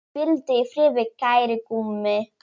Hvíldu í friði, kæri Gummi.